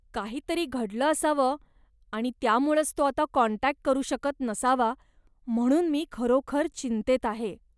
काहीतरी घडलं असावं आणि त्यामुळंच तो आता कॉन्टॅक्ट करू शकत नसावा, म्हणून मी खरोखर चिंतेत आहे.